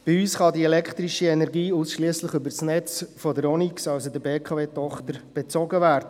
Bei uns kann die elektrische Energie ausschliesslich über das Netz der Onyx, also der BKW-Tochter, bezogen werden.